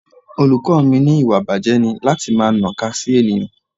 Olùkọ́ mi wí pé ìwà ìbàjé ni láti máa naka sí ènìyàn.